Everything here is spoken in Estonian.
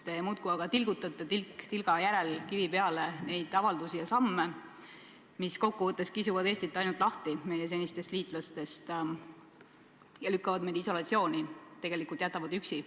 Te muudkui tilgutate tilk tilga järel, laote kivi kivi peale neid avaldusi ja samme, mis kokkuvõttes kisuvad Eestit meie senistest liitlastest ainult eemale ja lükkavad meid isolatsiooni – jätavad meid tegelikult üksi.